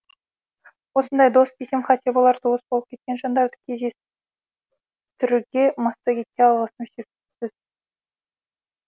осындай дос десем қате болар туыс болып кеткен жандарды кездестірге массагетке алғысым шексіз